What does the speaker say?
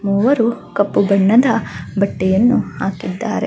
ಮೂವರು ಕಪ್ಪು ಬಣ್ಣದ ಬಟ್ಟೆಯನ್ನು ಹಾಕಿದ್ದಾರೆ.